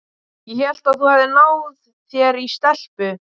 Ég hélt að þú hefðir náð þér í stelpu.